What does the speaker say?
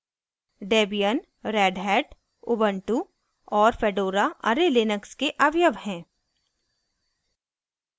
debian redhat ubuntu और fedora array Linux के अवयव हैं